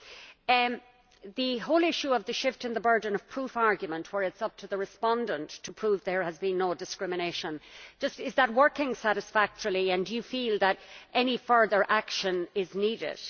On the whole issue of the shift in the burden of proof argument, where it is up to the respondent to prove there has been no discrimination, is that working satisfactorily and do you feel that any further action is needed?